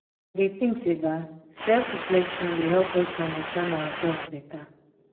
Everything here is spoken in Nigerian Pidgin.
i dey think say self-reflection dey help us to understand ourselves beta.